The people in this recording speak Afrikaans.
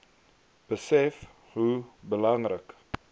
besef hoe belangrik